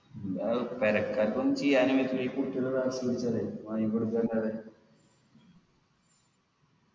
ആ പെരക്കാർക്കും ഈ കുട്ടികള വാങ്ങിക്കൊടുക്കല്ലാതെ